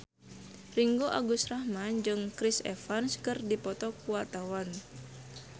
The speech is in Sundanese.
Ringgo Agus Rahman jeung Chris Evans keur dipoto ku wartawan